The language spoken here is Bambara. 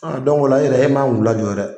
o la e yɛrɛ e man kan k'u lajɔ yɛrɛ.